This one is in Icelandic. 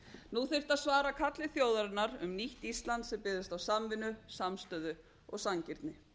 nú þyrfti að svara kalli þjóðarinnar um nýtt ísland sem byggðist á samvinnu samstöðu og sanngirni